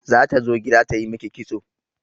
Zata zo gida ta yi miki kitso.